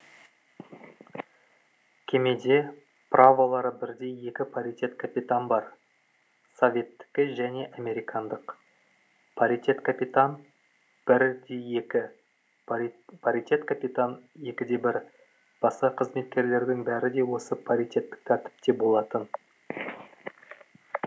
кемеде праволары бірдей екі паритет капитан бар советтікі және американдық паритет капитан бір екі паритет капитан екі де бір басқа қызметкерлердің бәрі де осы паритеттік тәртіпте болатын